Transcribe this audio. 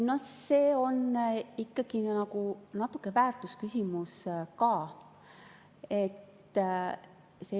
See on ikkagi natuke väärtusküsimus ka.